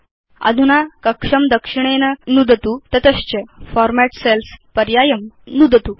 अधुना कक्षं दक्षिणेन नुदतु तत च फॉर्मेट् सेल्स् पर्यायं नुदतु